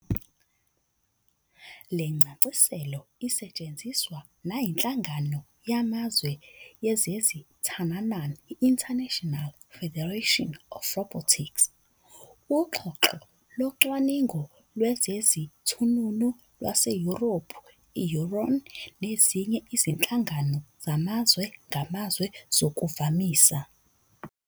Lencasiselo isetshenziswa nayiNhlangano yamaZwe yezeziThununun, i-International Federation of Robotics, uXhoxho loCwaningo lwezeziThununu lwaseYurophu, i-EURON, nezinye izinhlangano zamazwe ngamazwe zokuvamisa.